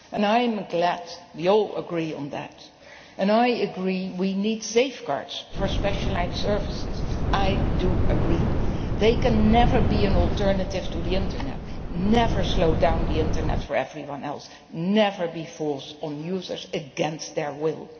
I am glad we all agree on that, and I agree that we need safeguards for specialised services. They must never be an alternative to the Internet, never slow down the Internet for everyone else, and never be forced on users against their will.